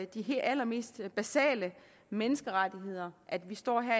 de allermest basale menneskerettigheder at vi står her